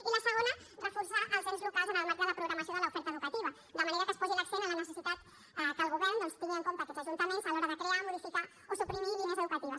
i la segona reforçar els ens locals en el marc de la programació de l’oferta educativa de manera que es posi l’accent en la necessitat que el govern doncs tingui en compte aquests ajuntaments a l’hora de crear modificar o suprimir línies educatives